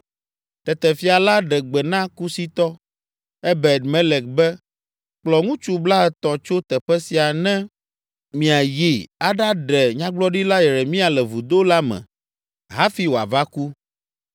Tete fia la ɖe gbe na Kusitɔ, Ebed Melek be, “Kplɔ ŋutsu blaetɔ̃ tso teƒe sia ne miayi aɖaɖe Nyagblɔɖila Yeremia le vudo la me hafi wòava ku.”